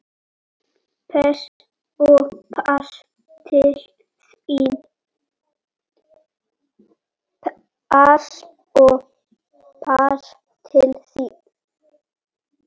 Pass og pass til þín.